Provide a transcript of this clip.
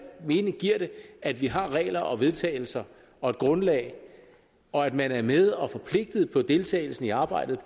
mening giver det at vi har regler og vedtagelser og et grundlag og at man er med og forpligtet på deltagelsen i arbejdet